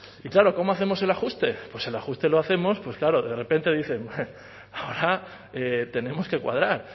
y claro cómo hacemos el ajuste pues el ajuste lo hacemos claro de repente dicen ahora tenemos que cuadrar